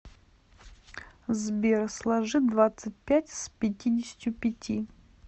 сбер сложи двадцать пять с пятидесятью пяти